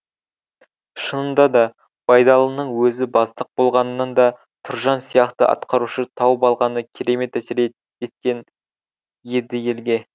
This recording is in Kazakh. шынында да байдалының өзі бастық болғанынан да тұржан сияқты атқарушы тауып алғаны керемет әсер еткен еді елге